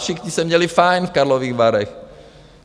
Všichni se měli fajn v Karlových Varech.